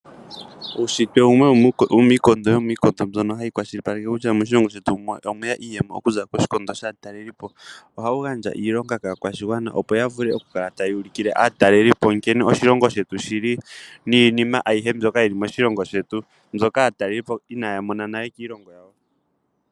Uushitwe wumwe womiikondo yomiikondo mbyono hayi kwashilipaleke kutya moshilongo shetu omwe ya iiyemo okuza koshikondo shaatalelipo. Ohawu gandja iilonga kaakwashigwana, opo ya vule okukala taya ulikile aatalelipo nkene oshilongo shetu shi li niinima ayihe mbyono yi li moshilongo shetu mbyoka aatalelipo inaya mona nale kiilongo yawo.